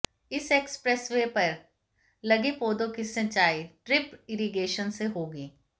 इस एक्सप्रेसवे पर लगे पौधों की सिंचाई ड्रिप इरिगेशन से होगी